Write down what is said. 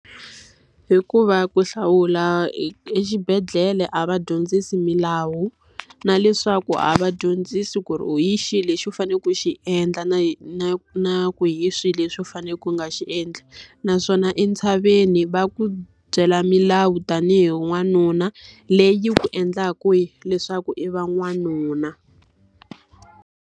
Hikuva ku hlawula exibedhlele a va dyondzisi milawu, na leswaku a va dyondzisi ku ri hi xihi lexi u fanele ku xi endla na na na ku hi swihi leswi u faneleke ku nga swi endli. Naswona entshaveni va ku byela milawu tanihi n'wanuna, leyi ku endlaka leswaku i va n'wanuna.